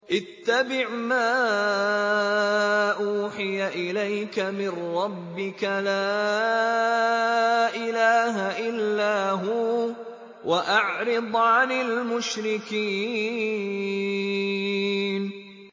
اتَّبِعْ مَا أُوحِيَ إِلَيْكَ مِن رَّبِّكَ ۖ لَا إِلَٰهَ إِلَّا هُوَ ۖ وَأَعْرِضْ عَنِ الْمُشْرِكِينَ